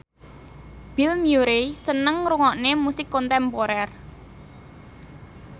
Bill Murray seneng ngrungokne musik kontemporer